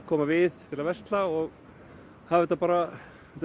koma við til að versla og þetta er bara